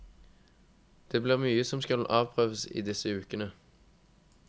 Det blir mye som skal avprøves i disse ukene.